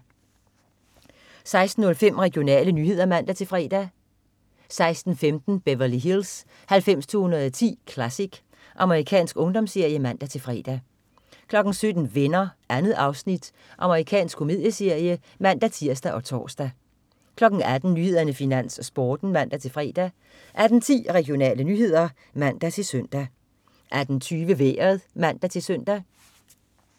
16.05 Regionale nyheder (man-fre) 16.15 Beverly Hills 90210 Classic. Amerikansk ungdomsserie (man-fre) 17.00 Venner. 2 afsnit. Amerikansk komedieserie (man-tirs og tors) 18.00 Nyhederne, Finans, Sporten (man-fre) 18.10 Regionale nyheder (man-søn) 18.20 Vejret (man-søn)